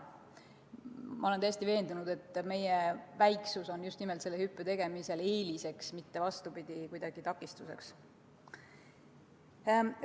Ma olen täiesti veendunud, et meie väiksus on just nimelt selle hüppe tegemisel eeliseks, mitte vastupidi, kuidagi takistuseks.